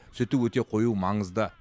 сүті өте қою маңызды